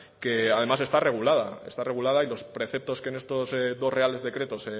que además está regulada está regulada y los preceptos que en estos dos reales decretos